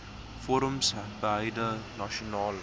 forums beide nasionaal